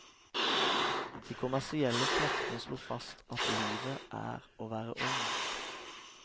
De kommersielle kreftene slo fast at livet er å være ung.